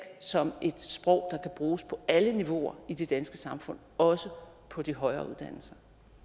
som et sprog der kan bruges på alle niveauer i det danske samfund også på de højere uddannelser